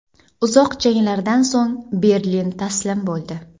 Uzoq janglardan so‘ng Berlin taslim bo‘ldi.